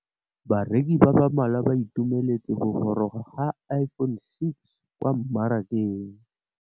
Bareki ba ba malwa ba ituemeletse go gôrôga ga Iphone6 kwa mmarakeng.